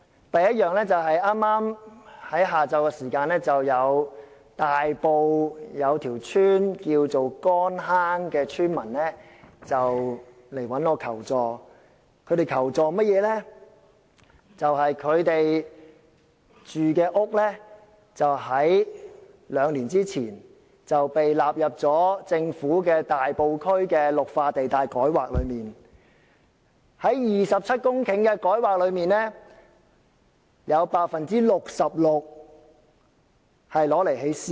第一，剛於今午，大埔乾坑村的村民向我求助，表示他們的住屋在兩年前被政府納入大埔區的綠化地帶改劃範圍，在27公頃的改劃土地中，有 66% 會用作興建私樓。